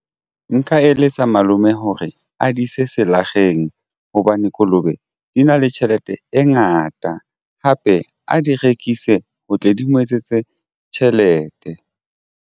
Nka eletsa malome hore a di ise selakgeng hobane kolobe di na le tjhelete e ngata hape a di rekise ho tle di mo etsetse tjhelete.